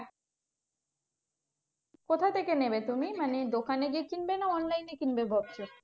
কথা থেকে নেবে তুমি মানে দোকানে গিয়ে কিনবে? না online এ কিনবে ভাবছো?